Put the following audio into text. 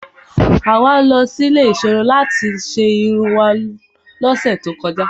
Àwa lọ sí ilé ìserun láti ṣe irun wá lọ́sẹ̀ tó kọjá.